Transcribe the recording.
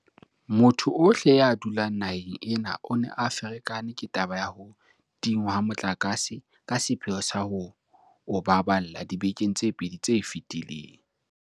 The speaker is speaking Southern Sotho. Motho ohle ya dulang naheng ena o ne a ferekane ke taba ya ho tingwa ha motlakase ka sepheo sa ho o baballa dibekeng tse pedi tse fetileng.